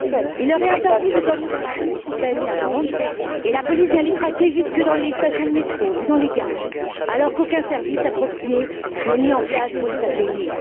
Il leur est interdit de dormir dans la rue sous peine d'amende, et la police vient les traquer jusque dans les stations de métro ou dans les gares, alors qu'aucun service approprié n'est mis en place pour les accueillir.